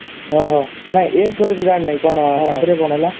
ଓଃ ହୋ ନାଇ ଏଇ story ତ ଜାଣି ନାହିଁ ତାପରେ କଣ ହେଲା